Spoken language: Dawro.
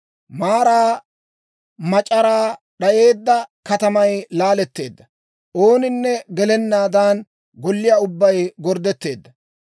Maaraa mac'araa d'ayeedda katamay laaletteedda; ooninne gelennaadan, golliyaa ubbay gorddetteedda.